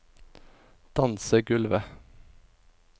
dansegulvet